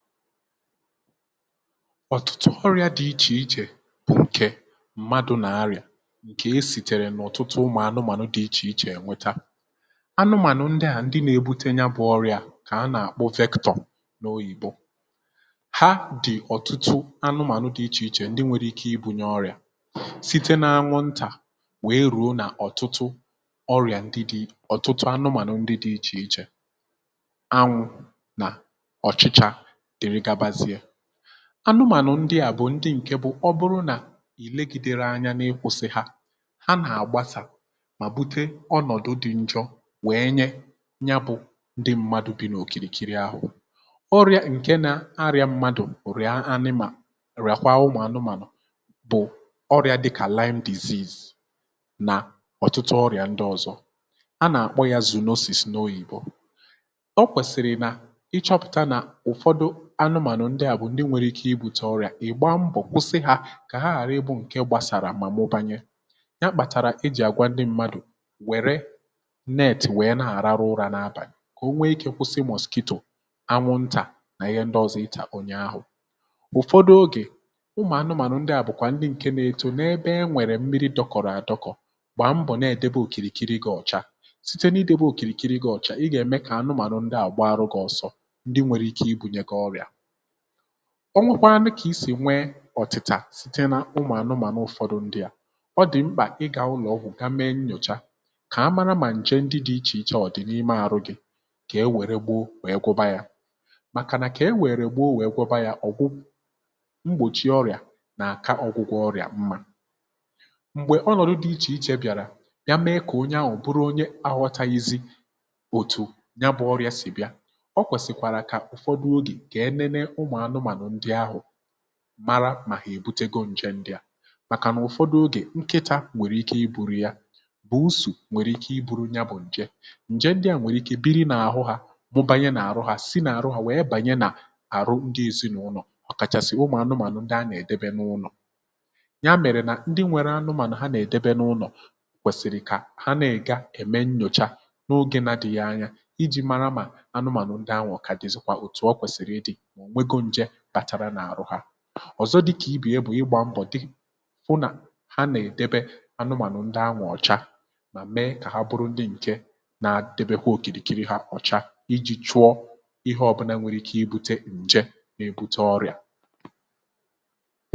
ọ̀tụtụ ọrịa dị ichè ichè bụ ǹkè mmadụ̇ nà-arịà ǹkè esìtèrè n’ọ̀tụtụ ụmụ̀ anụmànụ dị̀ ichè ichè eweta, anụmànụ ndị à ndị na-ebute ya bụ̇ ọrịà kà a nà-àkpụ vector n’oyìbo ha dị̀ ọ̀tụtụ anụmànụ dị̇ ichè ichè ndị nwėrė ike ịbụ̇nyė ọrịà site na anwụntà wèe rùo nà ọ̀tụtụ ọrịà ndị dị ọ̀tụtụ anụmànụ ndị̇ dị ichè ichè anwụ̇ nà ọ̀chịchà dere gabazie ,anụmànụ̀ ndị à bụ̀ ndị ǹkè bụ̀ ọ bụrụ nà i legidero anya n’ịkwụ̇sị̇ ha ha nà-àgbasà mà bute ọnọ̀dụ dị̇ njọ wèe nye ya bụ̇ ndị mmadụ̀ bi n’òkìrìkiri ahụ̀ ọrịa ǹke na-arịa mmadụ̀ rịa animal rịàkwa ụmụ̀ anụmànụ̀ bụ̀ ọrịa dịkà lime disease nà ọ̀tụtụ ọrịa ndị ọ̀zọ a nà-àkpọ ya zùnosis n’oyìbo o kwèsìrì nà ịchọpụ̀ta nà ụfọdụ anụmànụ̀ ndị à bụ̀ ndị nwẹ̀rẹ̀ ike ịbute ọrịà ị̀gba mbọ̀ kwụsị hȧ kà ha ghàrị ịbụ̇ ǹkẹ gbasàrà mà mụbànye ya kpàtàrà e jì àgwa ndị mmadụ̀ wẹ̀rẹ nètì wẹ̀ẹ na-àrarụ ụrȧ n’abàli kà o nwee ikė kwụsị mosquito anwụ ntà nà ihe ndị ọzọ ịtà onye ahụ̀ ụ̀fọdụ ogè ụmụ̀ anụmànụ̀ ndị à bụ̀kwà ndị ǹkẹ nȧ-ẹtù n’ẹbẹ ẹ nwẹ̀rẹ mmiri dọkọ̀rọ̀ àdọkọ̀ gbàa m bọ̀ nà-ẹ̀dẹbe òkìrìkiri gị̇ ọ̀cha site n’idebe òkìrìkiri gị̇ ọ̀cha ị gà èmẹ kà anụmànụ̀ ndị à gbarụ gị̇ ọsọ ndị nwẹ̀rẹ ike ibu̇nyẹ gi ọrịà, ọnwekwanu kà isì nwee ọ̀tị̀tà site n’ụmụ̀ anụmànụ ụ̀fọdụ ndị à ọ dị̀ mkpà ịgà ụlọ̀ ọgwụ̀ ka mee nnyòcha kà amara mà ǹje ndị dị ichè iche ọ̀ dị̀ n’ime arụ gị̇ kà e wère gboo wèe gwọba yȧ màkà nà kà e wère gboo wèe gwọba yȧ ọ̀gwụ mgbòchie ọrị̀à nà-àka ọ̀gwụgwọ ọrị̀à mmȧ m̀gbè ọnọ̀dụ dị ichè ichè bịàrà ya mee kà onye ahụ̀ bụrụ onye ahụtaghịzi òtù ya bụ̇ ọrị̀ȧ sì bịa o kwèsìkwàrà kà ụ̀fọdụ oge ka enene ụmụ anụmanụ ndị ahụ mara mà hà èbute go ǹje ndịà màkà nà ụfọdụ ogè nkịtȧ nwèrè ike i buru ya, buusu nwèrè ike i buru ya bụ̀ ǹje ǹje ndịà nwèrè ike biri nà àhụ hȧ mubanye nà àrụ ha si nà àrụ hȧ nwèe bànye nà àrụ ndị èzinụlọ̀ ọ̀kàchàsị̀ ụmụ̀ anụmànụ̀ ndị anà-èdebe n’ụlọ̀, ya mèrè nà ndị nwere anụmànụ̀ ha nà-èdebe n’ụlọ̀ kwèsìrì kà ha nà-èga ème nnyòcha n’ogė na adịghị anya iji̇ mara mà anụmànụ̀ ndị ahụ̀ kà dịzịkwa òtù o kwèsìrì ịdị̇ ma onwego nje batara n'arụ ha, ọzọ dịkà ibè ya bụ̀ ịgbȧ mbọ̀ dị, hụ nà ha ana edebe anumanu ndị ahụ ocha mà mee kà ha bụrụ ndị ǹke nȧ-ȧdebekwa òkìrìkiri ha ọ̀cha iji̇ chụọ ihe ọ̀bụna nwere ike ibute ǹje na-ebute ọrịà